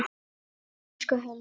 Elsku Helga.